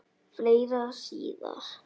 Fleira síðar.